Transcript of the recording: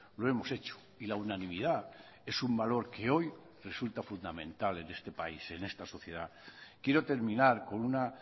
lo hemos hecho y la unanimidad es un valor que hoy resulta fundamental en este país en esta sociedad quiero terminar con una